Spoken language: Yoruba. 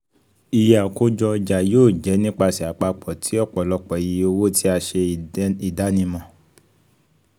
iye akojo oja yoo jẹ nipasẹ apapọ ti ọpọlọpọ iye owo ti a ṣe idanimọ